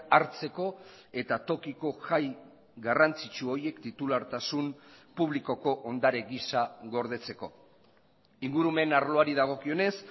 hartzeko eta tokiko jai garrantzitsu horiek titulartasun publikoko ondare gisa gordetzeko ingurumen arloari dagokionez